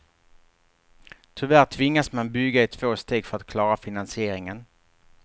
Tyvärr tvingas man bygga i två steg för att klara finansieringen.